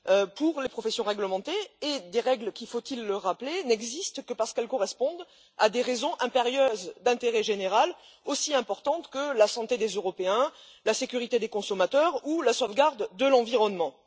pour les professions réglementées, règles qui, faut il le rappeler, n'existent que parce qu'elles correspondent à des raisons impérieuses d'intérêt général aussi importantes que la santé des Européens, la sécurité des consommateurs ou la sauvegarde de l'environnement.